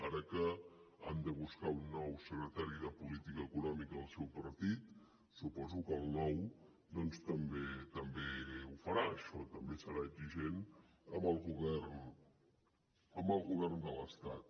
ara que han de buscar un nou secretari de política econòmica del seu partit suposo que el nou doncs també ho farà això també serà exigent amb el govern de l’estat